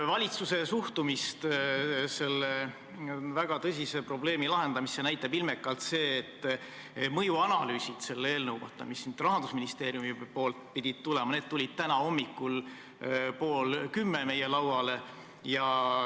Valitsuse suhtumist selle väga tõsise probleemi lahendamisse näitab ilmekalt see, et mõjuanalüüsid selle eelnõu kohta, mis siia Rahandusministeeriumist pidid tulema, tulid meie lauale täna hommikul pool kümme.